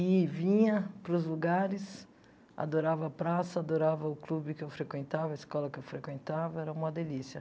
E vinha para os lugares, adorava a praça, adorava o clube que eu frequentava, a escola que eu frequentava, era uma delícia.